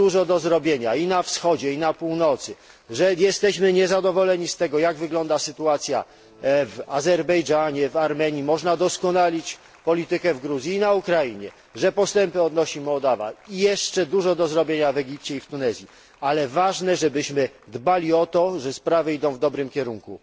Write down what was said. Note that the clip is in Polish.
dużo do zrobienia i na Wschodzie i w Afryce Północnej, że jesteśmy niezadowoleni z tego, jak wygląda sytuacja w Azerbejdżanie, w Armenii, można doskonalić politykę w Gruzji i na Ukrainie, mówić, że postępy odnosi Mołdawia, i jeszcze dużo do zrobienia w Egipcie i w Tunezji, ale ważne, żebyśmy dbali o to, by sprawy szły w dobrym kierunku.